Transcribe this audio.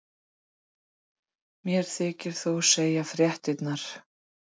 Mér þykir þú segja fréttirnar!